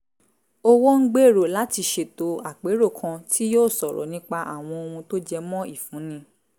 owó ń gbèrò láti ṣètò àpérò kan tí yóò sọ̀rọ̀ nípa àwọn ohun tó jẹ mọ́ ìfúnni